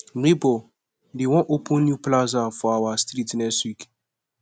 nebor dem wan open new plaza for our street next week